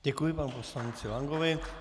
Děkuji panu poslanci Lankovi.